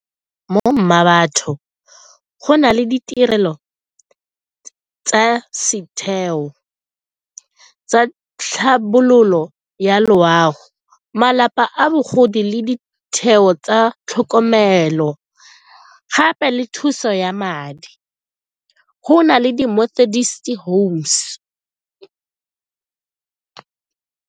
Mo mmabatho go na le ditirelo tsa setheo sa tlhabololo ya loago, malapa bogodi le ditheo tsa tlhokomelo gape le thuso ya madi, go na le di .